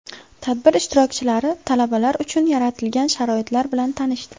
Tadbir ishtirokchilari talabalar uchun yaratilgan sharoitlar bilan tanishdi.